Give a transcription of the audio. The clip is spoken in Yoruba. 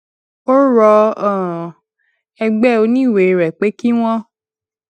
ó rọ um ẹgbé oníwèé rè pé kí wón